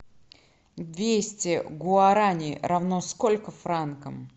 двести гуарани равно сколько франкам